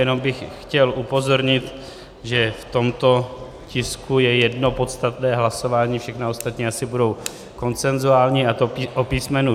Jenom bych chtěl upozornit, že v tomto tisku je jedno podstatné hlasování, všechna ostatní asi budou konsenzuální, a to o písm.